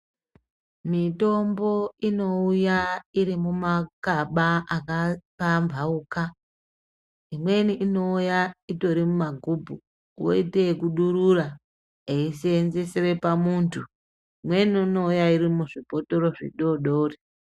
Mitombo inouya iri mumakamba akapambauka imweni inouya itori mumagubhu woite ikudurura eisenzeresa pamuntu umweni unouya uri muzvibhotoro zvidodori.